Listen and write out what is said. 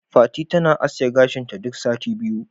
Fati tana aske gashinta duk sati biyu.